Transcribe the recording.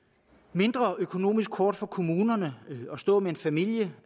mindre økonomisk hårdt for kommunerne at stå med en familie